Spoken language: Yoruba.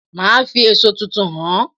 Màá fi èso tuntun hàn é